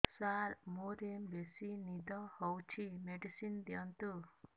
ସାର ମୋରୋ ବେସି ନିଦ ହଉଚି ମେଡିସିନ ଦିଅନ୍ତୁ